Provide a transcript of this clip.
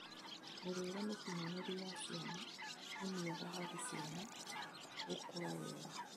Mĩrĩre mĩkinyanĩru ya ciana nĩ mĩega harĩ ciana gũkũra wega